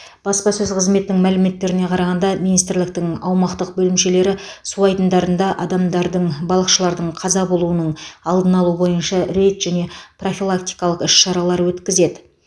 баспасөз қызметінің мәліметтеріне қарағанда министрліктің аумақтық бөлімшелері су айдындарында адамдардың балықшылардың қаза болуының алдын алу бойынша рейд және профилактикалық іс шаралар өткізеді